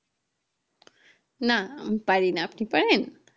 না আমি পারি না উপনি পারেন